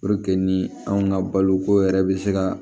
ni anw ka baloko yɛrɛ bɛ se ka